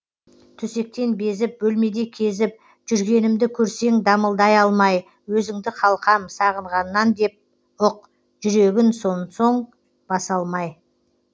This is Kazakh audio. төсектен безіп бөлмеде кезіп жүргенімді көрсең дамылдай алмай өзіңді қалқам сағынғаннан деп ұқ жүрегін сон соң баса алмай